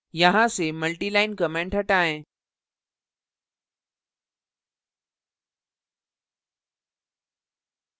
यहाँ और यहाँ से मल्टिलाइन comments हटाएं